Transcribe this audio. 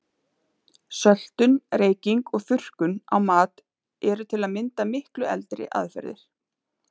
Söltun, reyking og þurrkun á mat eru til að mynda miklu eldri aðferðir.